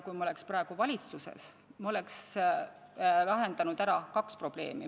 Kui me oleks praegu valitsuses, siis me oleks lahendanud ära kaks probleemi.